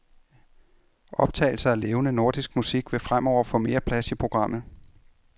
Optagelser af levende nordisk musik vil fremover få mere plads i programmet.